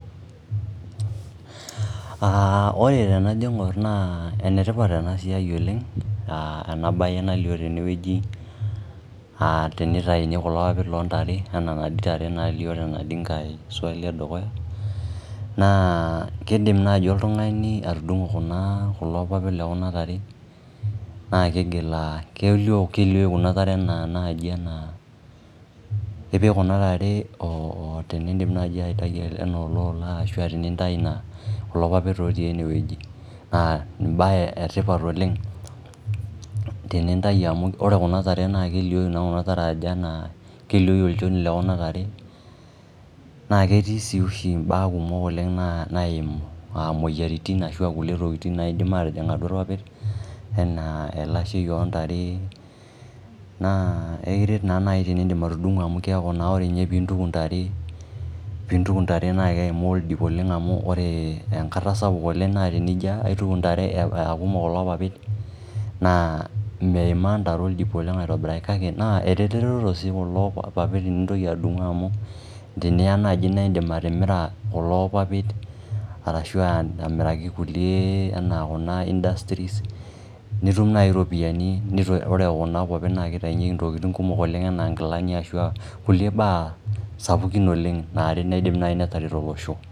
Ore teneijo aing'or naa enetipat eena siai oleng eena baye nalio teene wueji teneitauni kulo papit lontare enaa inatoi taare nalio tenaduo swali e dukuya, naa keidim naaji oltung'ani atudung'o kulo papit lekuna taare, naa keliou kuuna taare naaji enaa ipik kuuna taare teniidip naaji aitau enaa eele ola araki kulo papit otii eene wueji naa embaye etipat oleng, tenintau amuu oore kuuna taare naa keliou naa kuna taare aajo enaa, keliou olchooni lekuuna taare naa ketii sii ooshi imba kumok oleng naimu aah imueyiaritin arashu aah kulie tokitin naidim aatijing' aatua irpapit, enaa elashei ontare, naa ekiret naa naaji eneipit atudung'o amuu kiaku naa naaji teneidip atudung'o amuu kiaku naa oore ninye tenintuku intare, pee intuku intare naa keimaa oldip oleng, amuu oore enjkata sapuk naa tenijo aituku intare, aah kumok kulo papit naa meimaa intare oldip oleng aitobiraki kake eretoto kulo keek teniidip atudung'o amuu teniya naaji naa iidim atimira kulo papit arashu aah amiraki kulie enaa kuuna[cs[industries nitum naji iropiyiani iyiolo kuna kopir naa keitaunyieki intokitin kumok oleng enaa inkilani enaa kulie baa sapukin oleng naidim naaji ateret olosho.